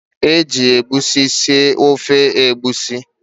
Eji egusi sie ofe Egusi.